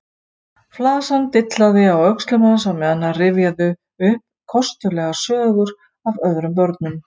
Flasan dillaði á öxlum hans á meðan hann rifjaði upp kostulegar sögur af öðrum börnum.